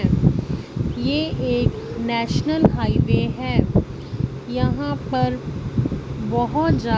ये एक national highway है यहां पर बहोत जा--